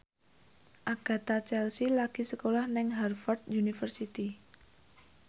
Agatha Chelsea lagi sekolah nang Harvard university